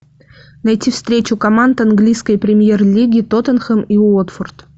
найти встречу команд английской премьер лиги тоттенхэм и уотфорд